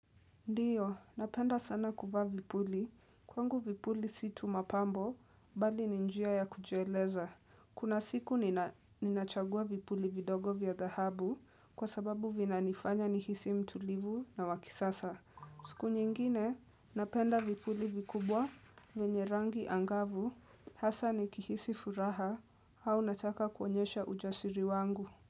Ndio, napenda sana kuvaa vipuli, kwangu vipuli si tuu mapambo, bali ni njia ya kujieleza. Kuna siku ninachagua vipuli vidogo vya dhahabu kwa sababu vina nifanya nihisi mtulivu na wakisasa. Siku nyingine, napenda vipuli vikubwa vienye rangi angavu, hasaa nikihisi furaha au nataka kuonyesha ujasiri wangu.